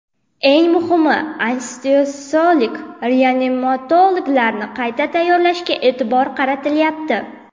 Eng muhimi, anesteziolog-reanimatologlarni qayta tayyorlashga e’tibor qaratilyapti.